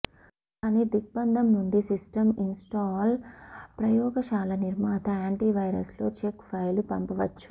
కానీ దిగ్బంధం నుండి సిస్టమ్ ఇన్స్టాల్ ప్రయోగశాల నిర్మాత యాంటీవైరస్ లో చెక్ ఫైలు పంపవచ్చు